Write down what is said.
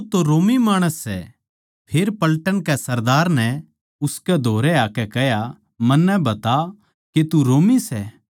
फेर पलटन के सरदार नै उसकै धोरै आकै कह्या मन्नै बता के तू रोमी सै उसनै कह्या हाँ